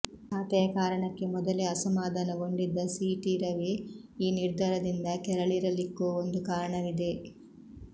ಖಾತೆಯ ಕಾರಣಕ್ಕೆ ಮೊದಲೇ ಅಸಮಾಧಾನಗೊಂಡಿದ್ದ ಸೀಟಿ ರವಿ ಈ ನಿರ್ಧಾರದಿಂದ ಕೆರಳಿರಲಿಕ್ಕೂ ಒಂದು ಕಾರಣವಿದೆ